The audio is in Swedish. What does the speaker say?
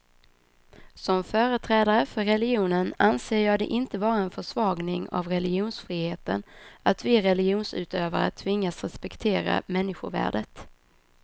Som företrädare för religionen anser jag det inte vara en försvagning av religionsfriheten, att vi religionsutövare tvingas respektera människovärdet.